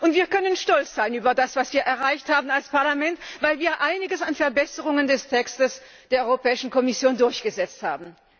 Wir können stolz sein auf das, was wir erreicht haben als Parlament, weil wir einiges an Verbesserungen am Text der Europäischen Kommission durchgesetzt haben.